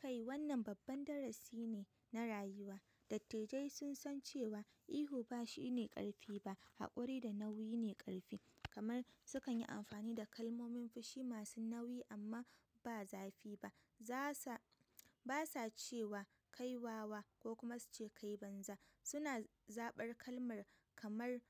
Kai wannan babban darasi ne na rayuwa. Dattijai sun san cewa ihu ba shi ne ƙarfi ba, haƙuri da nauyi ne ƙarfi. Kamar su kan yi amfani da kalmomin fushi masu nauyi amma ba zafi ba. Ba sa cewa "kai wawa" ko kuma su ce "kai banza." suna zaɓar kalmar kamar